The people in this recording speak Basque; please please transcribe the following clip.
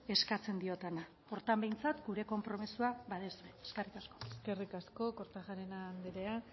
eskatzen diodana horretan behintzat gure konpromisoa baduzue eskerrik asko eskerrik asko kortajarena anderea